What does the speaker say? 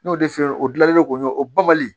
N'o de feere o gilanlen do o banbali